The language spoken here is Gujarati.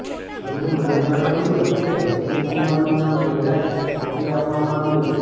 તેમણે મને જણાવ્યું હતું કે સુશીલ કુમારનું નામ પહેલા જ મોકલી આપવામાં આવ્યું છે